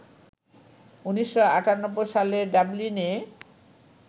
১৯৯৮ সালে ডাবলিনে